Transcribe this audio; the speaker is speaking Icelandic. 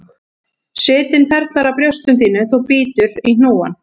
Svitinn perlar á brjóstum þínum þú bítur í hnúann,